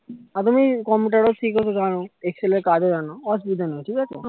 আর তুমি computer ও শিখেছো জানো excel এর কাজ ও জানো অসুবিধা নাই ঠিক আছে